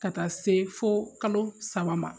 Ka taa se fo kalo saba ma